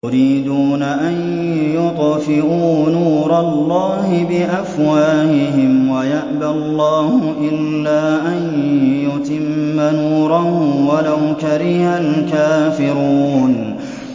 يُرِيدُونَ أَن يُطْفِئُوا نُورَ اللَّهِ بِأَفْوَاهِهِمْ وَيَأْبَى اللَّهُ إِلَّا أَن يُتِمَّ نُورَهُ وَلَوْ كَرِهَ الْكَافِرُونَ